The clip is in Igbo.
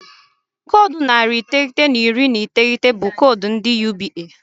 Koodu narị iteghete na iri na iteghete bụ koodu ndị UBA.